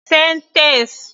Sentence